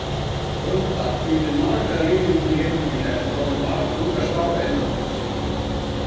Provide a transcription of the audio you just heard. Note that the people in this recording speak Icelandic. Grótta hvíldi marga lykilmenn í leiknum í gær og var með marga unga stráka innanborðs.